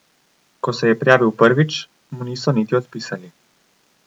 Ko se je prijavil prvič, mu niso niti odpisali.